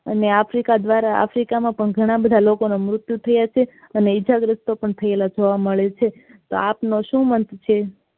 અને africa દ્વારા africa માં પણ ઘણા બધા લોકો મૃતિયું થયા છે અને ઇજાગ્રતસ્ત પણ થયેલા જોવા મળે છે તો આપનો શું મત છે.